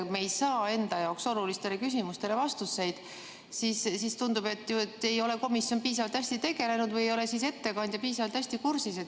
Kui me ei saa enda jaoks olulistele küsimustele vastuseid, siis tundub ju, et komisjon ei ole piisavalt hästi sellega tegelenud või ei ole ettekandja piisavalt hästi kursis.